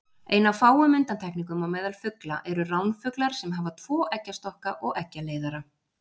Ein af fáum undantekningum á meðal fugla eru ránfuglar sem hafa tvo eggjastokka og eggjaleiðara.